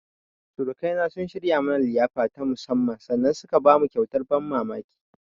Surukaina sun shirya mana liyafa ta musammman sannan suka bamu kyauta ta ban mamamki.